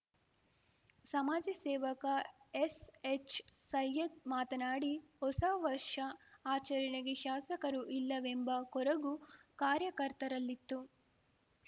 ಸಮಾಜ ಸೇವಕ ಎಸ್‌ಹೆಚ್‌ ಸೈಯದ್‌ ಮಾತನಾಡಿ ಹೊಸ ವರ್ಷ ಆಚರಣೆಗೆ ಶಾಸಕರು ಇಲ್ಲವೆಂಬ ಕೊರಗು ಕಾರ್ಯಕರ್ತರಲ್ಲಿತ್ತು